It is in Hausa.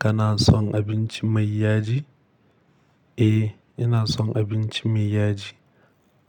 Kana son abinci mai yaji? Eh, ina son abinci mai yaji